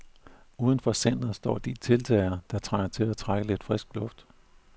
Uden for centret står de deltagere, der trænger til at trække lidt frisk luft.